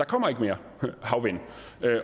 kommer mere havvind